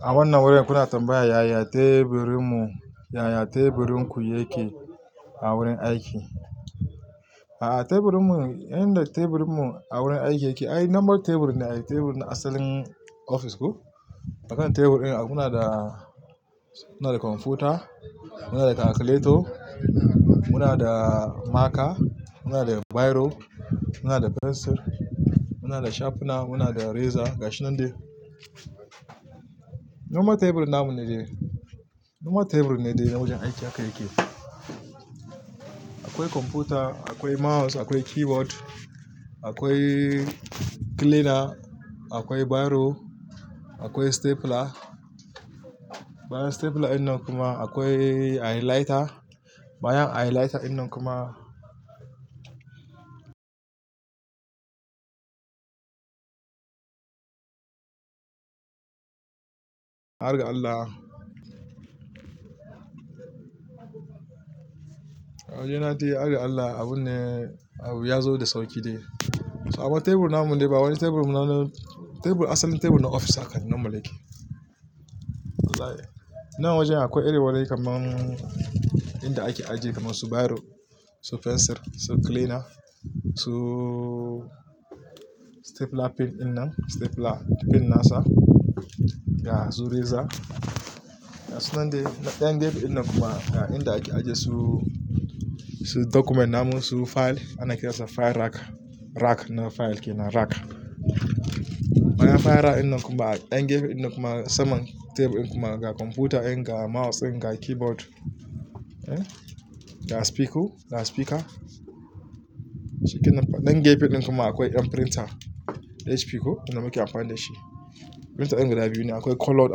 A wannan wurin kuna tambaya yaya teburinmu, yaya teburinku yake a wurin aiki. A'a, teburinmu, inda teburinmu a wurin aiki yake, ai number tebur ne a teburin asalin ofis ku. A kan tebur ɗin mu na da, muna da kwamfuta, muna da kalkuleti, muna da maka, muna da biro, muna da fensir, muna da shafna, muna da reza gashi nan da. Normal tebur na mu ne dai. Normal tebur ne dai wajen aiki haka yake. Akwai kwamfuta, akwai mouse, akwai keyboard, akwai cleaner, akwai biro, akwai stapler. Bayan stapler ɗin nan kuma akwai highlighter. Bayan highlighter ɗin nan kuma har ga Allah. A waje na dai har ga Allah abun ne, abu ya zo da sauƙi dai. So abun tebur na mu ne dai, wani tebur na mu, tebur asalin tebur na ofis haka number yake. Wallahi. Nan wajen akwai iri wulai kamar inda ake ajiye kamar su biro, su fensir, su cleaner, su stapler pin in nan, stapler pin nasa. Ya zo reza. Gasu nan dai, ɗan gefe ɗin nan kuma inda ake ajiye su, su document na mu, su fayil. Ana kiransa file rack. Rack na fayil ke nan, rack. Bayan fayil rack ɗin nan kuma, ɗan gefe ɗin kuma saman tebur ɗin kuma ga kwamfuta ɗin, ga mouse ɗin, ga keyboard. Eh. Ga spiku, ga spika. Shi kenan fa. Ɗan gefe ɗin kuma akwai ƴan printer HP ku, inda muke amfani da shi. Printer ɗin guda biyu ne, akwai colored,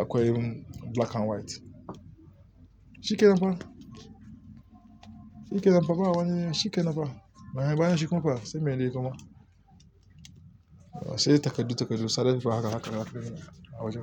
akwai black and white. Shi kenan fa. Shi kenan fa ba wani, shi kenan fa. Bayan shi kuma fa sai mai dai kuma. Sai takardu takardu sadaukarwa haka haka haka a waje.